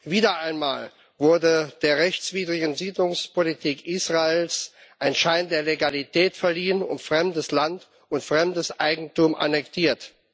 Wieder einmal wurde der rechtswidrigen Siedlungspolitik Israels ein Schein der Legalität verliehen und fremdes Land und fremdes Eigentum annektiert.